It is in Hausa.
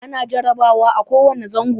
Ana jarabawa a ko wane zango.